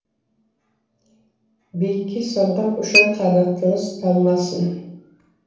биікке самғап ұшар қанатыңыз талмасы